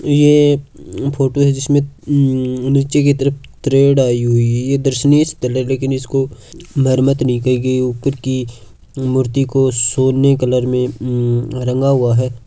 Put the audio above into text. ये फोटू है जिसमे निचे की तरफ तरेड आई हुई है दरसनीय स्थल लेकिन इसको मरमत नि कई गई उपर की मूर्ति को सोने कलर में रंगा हुआ है।